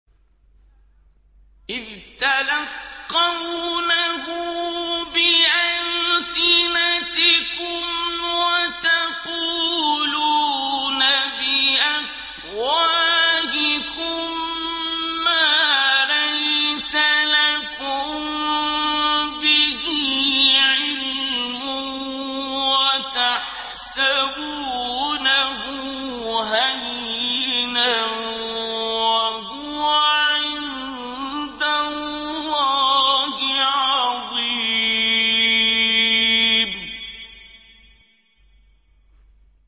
إِذْ تَلَقَّوْنَهُ بِأَلْسِنَتِكُمْ وَتَقُولُونَ بِأَفْوَاهِكُم مَّا لَيْسَ لَكُم بِهِ عِلْمٌ وَتَحْسَبُونَهُ هَيِّنًا وَهُوَ عِندَ اللَّهِ عَظِيمٌ